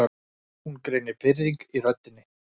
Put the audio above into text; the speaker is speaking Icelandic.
Hún greinir pirring í röddinni.